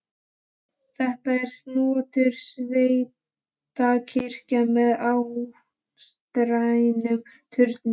Þetta er snotur sveitakirkja með áttstrendum turni.